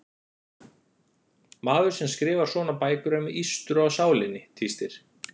Maður sem skrifar svona bækur er með ístru á sálinni, tístir